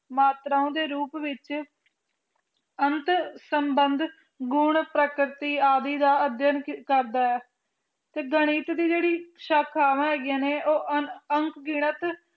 ਮਾਤਰਾਂ ਦੇ ਰੂਪ ਵਿੱਚ ਅਣਖ ਸੰਬੰਧ ਗੁਣ ਪ੍ਰਕ੍ਰਿਤੀ ਆਦਿ ਦਾ ਅਧਿਐਨ ਕਰਦਾ ਹੈ ਤੇ ਗਣਿਤ ਦੀ ਜਿਹੜੀ ਸ਼ਾਖਾਵਾਂ ਹੈਗੀਆਂ ਨੇ ਉਹ ਅਣਗਿਣਤ